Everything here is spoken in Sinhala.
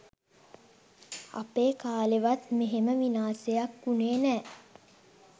අපේ කාලෙවත් මෙහෙම විනාසයක් වුනේ නෑ